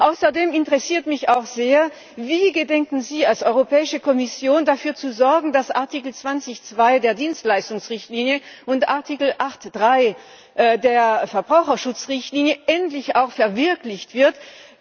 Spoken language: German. Außerdem interessiert mich auch sehr Wie gedenken Sie als Europäische Kommission dafür zu sorgen, dass Artikel 20 Absatz 2 der Dienstleistungsrichtlinie und Artikel 8 Absatz 3 der Verbraucherschutzrichtlinie endlich auch verwirklicht werden?